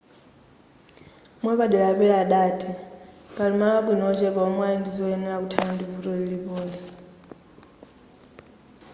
mwapadera a perry adati pali malo abwino ochepa omwe ali ndizoyenereza kuthana ndi vuto lilipoli